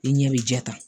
I ɲɛ bɛ jɛ ta